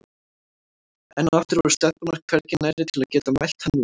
Enn og aftur voru stelpurnar hvergi nærri til að geta mælt hann út.